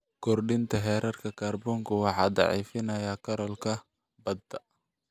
Kordhinta heerarka kaarboonku waxay daciifinaysaa coral-ka badda.